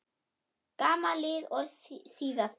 Sama lið og síðast?